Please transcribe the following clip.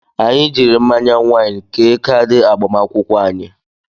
Anyị jiiri mmanya wain kee kaadị agbamakwụkwọ anyị.